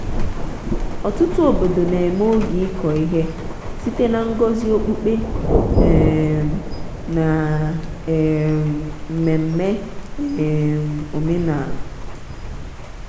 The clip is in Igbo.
ọtụtụ obodo na-eme oge ịkọ ihe site na ngọzi okpukpe um na um mmemme um omenala.